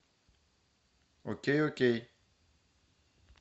окей окей